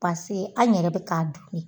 Paseke an yɛrɛ bɛ k'a dun de.